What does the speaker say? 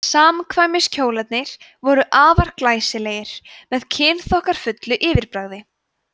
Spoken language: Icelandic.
samkvæmiskjólarnir voru afar glæsilegir með kynþokkafullu yfirbragði